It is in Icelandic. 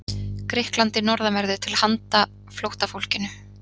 Grikklandi norðanverðu til handa flóttafólkinu.